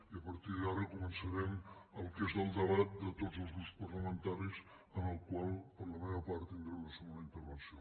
i a partir d’ara començarem el que és el debat de tots els grups parlamentaris en el qual per la meva part tindré una segona intervenció